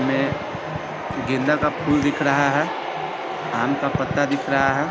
में गेंदा का फूल दिख रहा है आम का पत्ता दिख रहा है।